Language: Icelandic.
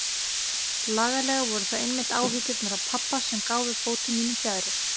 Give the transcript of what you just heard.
Líklega voru það einmitt áhyggjurnar af pabba sem gáfu fótum mínum fjaðrir.